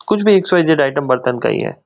कुछ भी X Y Z item बर्तन का ही है।